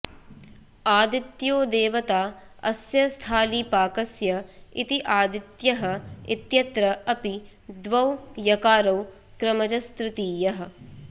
आदित्यो देवता अस्य स्थालीपाकस्य इति आदित्य्यः इत्यत्र अपि द्वौ यकारौ क्रमजस्तृतीयः